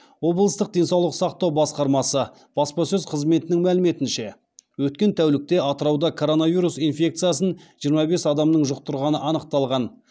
облыстық денсаулық сақтау басқармасы баспасөз қызметінің мәліметінше өткен тәулікте атырауда коронавирус инфекциясын жиырма бес адамның жұқтырғаны анықталған